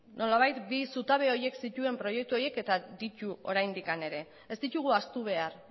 nolabait bi zutabe horiek zituen proiektuak eta ditu oraindik ere ez ditugu ahaztu behar